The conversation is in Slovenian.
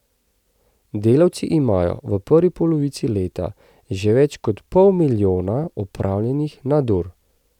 Delavci imajo v prvi polovici leta že več kot pol milijona opravljenih nadur.